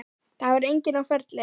Það var enginn á ferli.